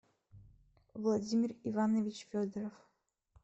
владимир иванович федоров